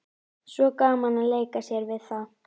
Svo gaman að leika sér við það.